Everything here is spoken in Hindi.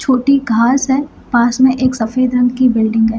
छोटी घांस है पास में एक सफ़ेद रंग की बिल्डिंग है।